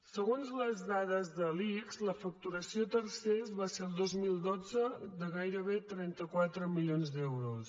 segons les dades de l’ics la facturació a tercers baixa el dos mil dotze de gairebé trenta quatre milions d’euros